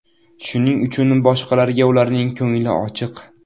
Shuning uchun boshqalarga ularning ko‘ngli ochiq.